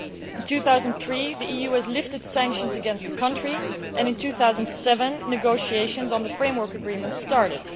In 2003 the EU lifted sanctions against the country and in 2007 negotiations on the framework agreement started.